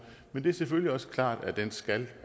men det er selvfølgelig også klart at den skal